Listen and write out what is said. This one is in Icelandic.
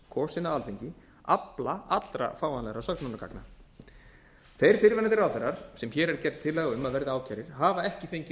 kosinn af alþingi afla allra fáanlegra sönnunargagna þeir fyrrverandi ráðherrar sem hér er gerð tillaga um að verði ákærðir hafa ekki fengið